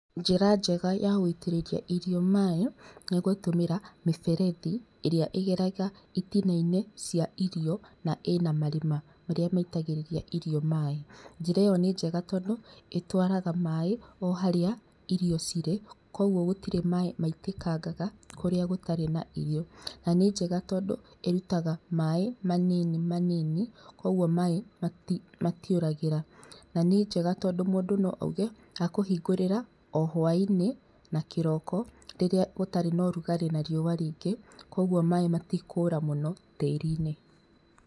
Njĩra njega ya gũitĩrĩria irio maaĩ nĩ gutũmĩra mĩberethi ĩrĩa ĩgeraga itina-inĩ cia irio na ĩna marima marĩa maitagĩrĩria irio maaĩ, njĩra ĩyo nĩ njega tondũ ĩtwaraga maaĩ o harĩa irio cirĩ koguo gũtirĩ maaĩ maitĩkangaga kũrĩa gũtarĩ na irio na nĩ njega tondũ ĩrutaga maaĩ manini manini koguo maaĩ matiũragĩra, na njega tondũ mũndũ no auge akũhingũragĩra o hwainĩ na kĩroko rĩrĩa gũtarĩ na ũrugarĩ na riũwa rĩingĩ koguo maaĩ matikũra mũno tĩri-inĩ.